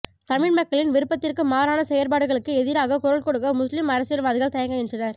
தமிழ் மக்களின் விருப்பத்திற்கு மாறான செயற்பாடுகளுக்கு எதிராக குரல்கொடுக்க முஸ்லிம் அரசியல்வாதிகள் தயங்குகின்றனர்